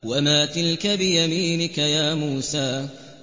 وَمَا تِلْكَ بِيَمِينِكَ يَا مُوسَىٰ